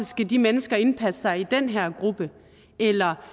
skal de mennesker indpasse sig i den her gruppe eller